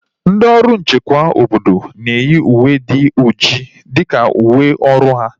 Ndị ọrụ nchekwa obodo na-eyi uwe dị ọjị dịka uwe ọrụ ha